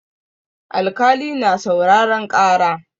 Alkali na sauraren ƙara.